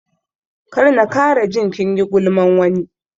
Kar na kara ji kinyi gulman wani